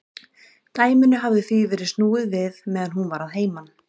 Dæminu hafði því verið snúið við meðan hún var að heiman.